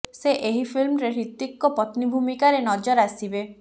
ସେ ଏହି ଫିଲ୍ମରେ ହ୍ରିତିକଙ୍କ ପତ୍ନୀ ଭୂମିକାରେ ନଜର ଆସିବେ